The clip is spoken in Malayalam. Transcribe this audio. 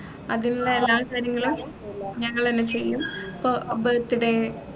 അതിനുള്ള എല്ലാ കാര്യങ്ങളും ഞങ്ങളെന്നെ ചെയ്യും ഇപ്പൊ ഏർ birthday